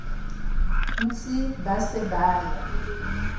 ntsi ba se ba e